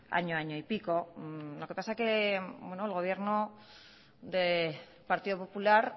hace año año y pico lo que pasa es que el gobierno del partido popular